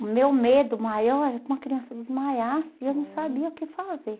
O meu medo maior é que uma criança desmaiasse e eu não sabia o que fazer.